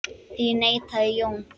Því neitaði Jón.